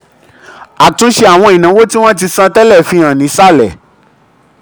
àtúnṣe àwọn ìnáwó tí wọ́n ti wọ́n ti san tẹ́lẹ̀ fi hàn nísàlẹ̀.